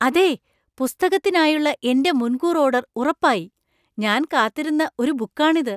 അതെ! പുസ്തകത്തിനായുള്ള എന്‍റെ മുൻകൂർ ഓർഡർ ഉറപ്പായി. ഞാൻ കാത്തിരുന്ന ഒരു ബുക്കാണിത്.